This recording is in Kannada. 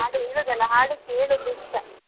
ಹಾಡು ಹೇಳುದು ಅಲ್ಲ ಹಾಡು ಕೇಳುದು ಇಷ್ಟ.